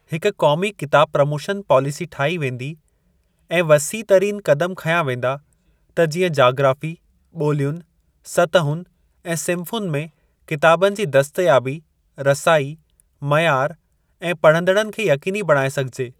हिक क़ौमी किताब प्रोमोशन पालीसी ठाही वेंदी, ऐं पर वसीअ तरीन क़दमु खंया वेंदा त जीअं जाग्राफ़ी, ॿोलियुनि, सतहुनि ऐं सिन्फ़ुनि में किताबनि जी दस्तयाबी, रसाई, मयारु ऐं पढ़ंदड़नि खे यक़ीनी बणाए सघिजे।